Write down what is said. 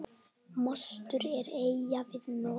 Mostur er eyja við Noreg.